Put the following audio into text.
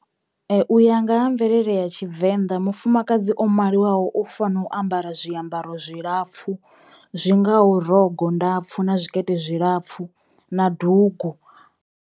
U ya nga ha mvelele ya Tshivenda, mufumakadzi o maliwaho u fano u ambara zwiambaro zwilapfhu zwi ngaho rogo ndapfu na zwikete zwilapfhu na dugu.